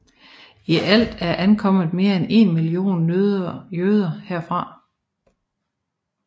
I alt er ankommet mere end 1 million jøder herfra